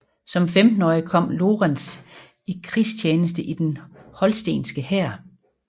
Som 15årig kom Lorenz i krigstjeneste i den holstenske hær